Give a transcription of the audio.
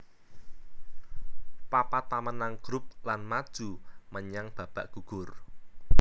Papat pamenang grup lan maju menyang babak gugur